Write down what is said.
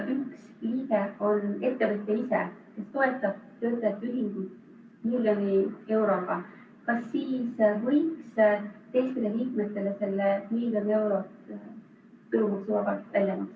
Kui ettevõttes tehakse töötajate ...... miljoni euroga, kas siis võiks kehtida mitmetele selle ... tulumaksu ...